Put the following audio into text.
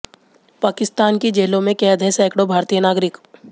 पाकिस्तान की जेलों में कैद हैं सैकड़ों भारतीय नागरिक